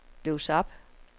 lås op